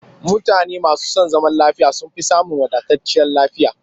Mutane masu son zaman lafiya sun fi samun wadatacciyar lafiya